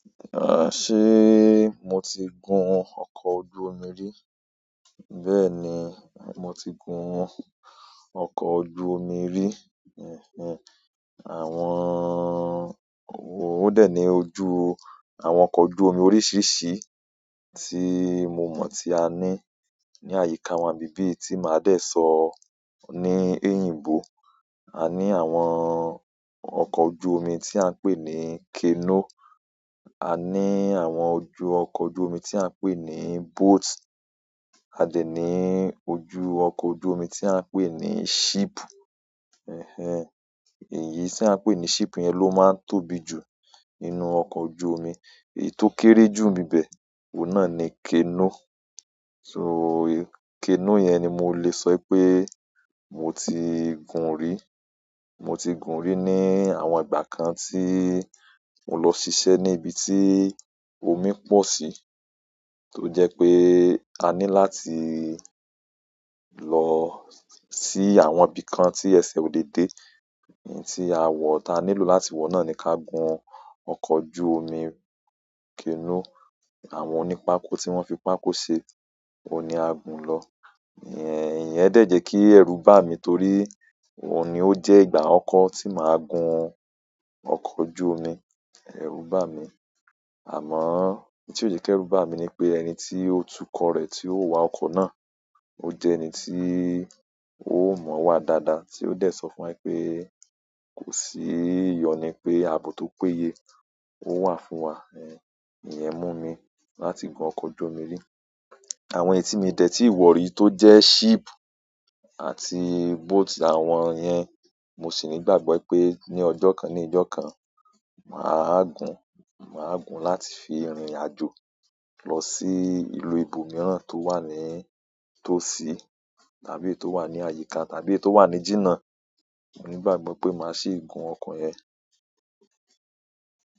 Ah, ṣe mo ti gun ọkọ̀ ojú omi rí? Bẹ́ẹ̀ni moti gun oko ojú omi ri. Ẹ̀hẹ̀n. Àwọn-- ó dẹ̀ ní ojú àwọn oko ojú omi oríṣiríṣi ti mo mon ti ani ni àyíká wa nbi bi ti maa de so ni eyinbo. A ní àwọn ọkọ̀ ojú omi tí à ń pè ní canoe, a ní àwọn ojú ọkọ̀ ojú omi tí à ń pè ní boat, a dè ní ojú ọkọ̀ ojú omi tí à ń pè ní ship. Ẹ̀hẹ̀n. Èyí tí à ń pè ní ship yẹn ló máa tóbi jù nínú ọkọ̀ ojú omi. Èyí tó kéré jù n bi bẹ̀, òun náà ni canoe. So, canoe yẹn ni mo lè sọ pé mo ti gun rí. Mo ti gun rí ní àwọn ìgbà kan tí mo lọ ṣiṣẹ́ ní ibi tí omi pọ̀ sí. To je pe ani láti lo si àwọn ibìkan ti ese o le de ti awo ta nílò láti wo noni ka gun oko ojú omi canoe. Àwọn oní pákó tí wọ́n fi pákó ṣe, òun ni a gùn lọ. Ẹ̀hẹ̀, ìyẹn dẹ̀ jẹ́ kí ẹrú bá mi torí òun ni ó jẹ́ ìgbà akọkọ̀ tí màá gun ọkọ̀ ojú omi ẹrú bá mi. Amo ntio je ki eru bami ni pe ẹni ti o tuko re ti o wa oko na oje ẹni ti o mo wa daada tio de sofun wa wípé kosi iyonu pe abo to péye owa fún wa. Ẹ̀hẹ̀, ìyẹn mú mi láti gun ọkọ̀ ojú omi rí. Àwọn èyí tí mi dẹ̀ tí wọ̀ rí tó jẹ́ ship àti boat àwọn iyẹn, mo sì ní ìgbàgbọ́ pé ní ọjọ́ kan ní ijọ́ kan, mà á gùn, mà á gùn láti fi rìnrìn àjò lọ sí ìlú ibòmíràn tó wà ní-- tó sí tàbí èyí tó wà ní àyíká tàbí èyí tó wà ní jíjà. Mo ni gbàgbọ́ pe ma si gun oko yen.